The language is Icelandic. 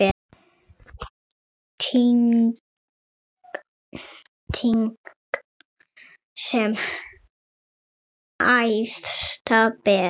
Tign sem æðsta ber.